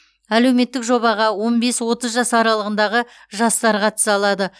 әлеуметтік жобаға он бес отыз жас аралығындағы жастар қатыса алады